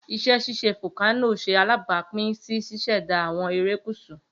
Iṣẹ ṣiṣe folkano ṣe alabapin si ṣiṣẹda awọn erekusu.